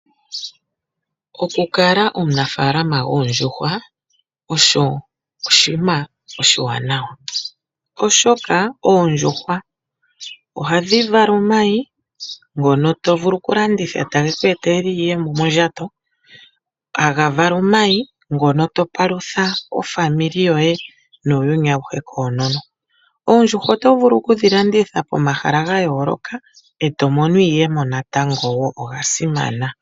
Okukala omunafaalama goondjuhwa oshi oshinima oshiwanawa, oshoka oondjuhwa ohadhi vala omayi ngono to vulu oku landitha etage ku etele iiyemo mondjato, tadhi vala omayi ngono to palutha aakwanezimo yoye nuuyuni awuhe koonono. Oondjuhwa oto vulu okudhi landitha pomahala ga yooloka eto mono mo iiyemo wo natango oga simana.